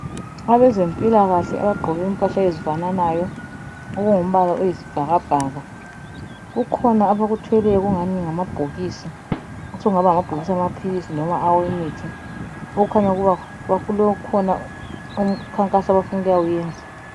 Abezempilakahle abagqoke impahla ezifananayo okungumbala oyisibhakabhaka kukhona abakuthweleyo okungani ngamabhokisi osekungaba ngamabhokisi amaphilisi loba awemithi okukhanya ukuba kukhona umkhankaso abafuna ukuyawenza.